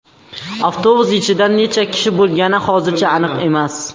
Avtobus ichida necha kishi bo‘lgani hozircha aniq emas.